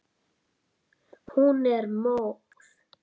Hún er móð.